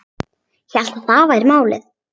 Hélt að það væri málið.